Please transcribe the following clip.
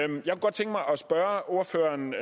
spørge ordføreren